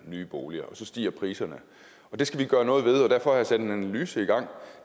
nye boliger og så stiger priserne det skal vi gøre noget ved og derfor har jeg sat en analyse i gang